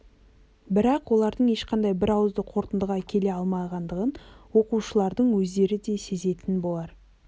бірақ олардың ешқандай бірауызды қорытындыға келе алмағандығын оқушылардың өздері де сезетін болар